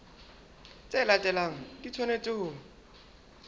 tse latelang di tshwanetse ho